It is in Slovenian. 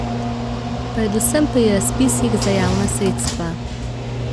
Predvsem pri razpisih za javna sredstva.